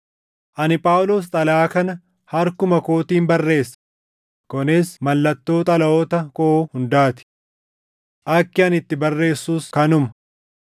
Ani Phaawulos xalayaa kana harkuma kootiin barreessa; kunis mallattoo xalayoota koo hundaa ti. Akki ani itti barreessus kanuma.